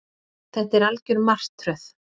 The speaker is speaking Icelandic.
Þetta er algjör martröð